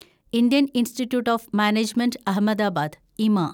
Indian Institute of Management Ahmedabad (ഇമ)